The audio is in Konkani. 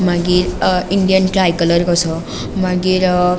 मागीर अ इंडियन ट्रायकलर कसो मागीर अ --